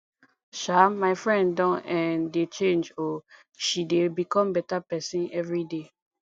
um my friend don um dey change o she dey become beta pesin everyday